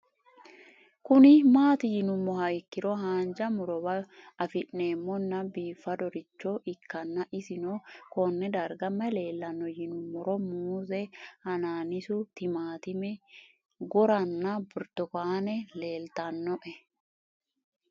Kuni mati yinumoha ikiro hanja murowa afine'mona bifadoricho ikana isino Kone darga mayi leelanno yinumaro muuze hanannisu timantime gooranna buurtukaane leelitoneha